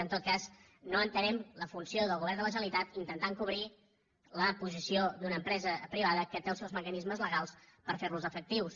en tot cas no entenem la funció del govern de la generalitat intentant cobrir la posició d’una empresa privada que té els seus mecanismes legals per fer los efectius